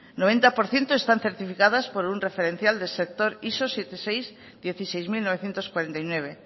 noventa por ciento están certificadas por un referencial del sector iso setenta y seis barra dieciséis mil novecientos cuarenta y nueve